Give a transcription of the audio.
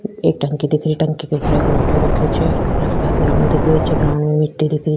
एक टंकी दिख रही टंकी के ऊपर एक लोटियो रखे छे आस पास ग्राउंड दिख रखियो छे ग्राउंड में मिटटी दिख री।